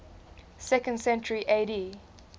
second century ad